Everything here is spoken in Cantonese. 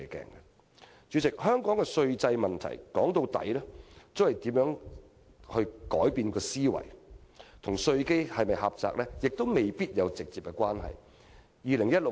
主席，要處理香港的稅制問題，歸根究底，必須改變思維，這與稅基是否狹窄未必有直接關係。